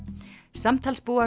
samtals búa